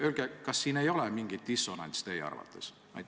Öelge, kas teie arvates ei ole siin mingit dissonantsi.